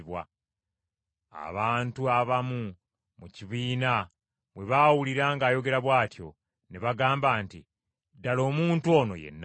Abantu abamu mu kibiina bwe baawulira ng’ayogera bw’atyo, ne bagamba nti, “Ddala omuntu ono ye Nnabbi.”